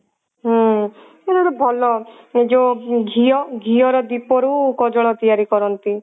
ହୁଁ ଏଇଟା ଗୋଟେ ଭଲ ଯଉ ଘିଅ ଘିଅ ର ଦୀପ ରୁ କଜଳ ତିଆରି କରନ୍ତି